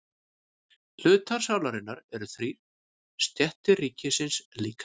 Hlutar sálarinnar eru þrír og stéttir ríkisins líka.